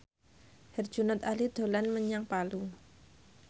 Herjunot Ali dolan menyang Palu